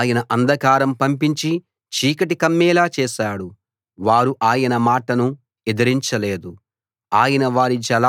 ఆయన అంధకారం పంపించి చీకటి కమ్మేలా చేశాడు వారు ఆయన మాటను ఎదిరించలేదు